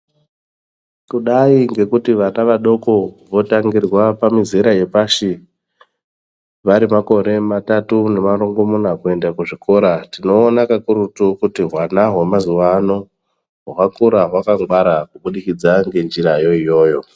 Kudai ngekuti vana vadoko votangirwa pamizera yepashi vari makore matatu nemarongomuna kuenda kuzvikora. Tinoona kakurutu kuti hwana hwemazuva ano hwakura hwakangwara kubudikidza ngenjirayo iyoyo.